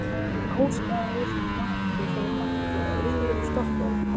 Þá gerist það sem ég hef vikið að áður